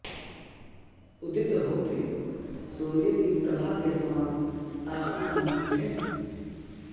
उदित होते सूर्य की प्रभा के समान आपकी कान्ति है